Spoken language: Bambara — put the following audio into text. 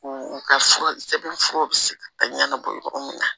U u ka fura sɛbɛn furaw bɛ se ka ɲɛnabɔ yɔrɔ min na